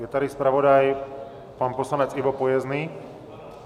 Je tady zpravodaj, pan poslanec Ivo Pojezdný?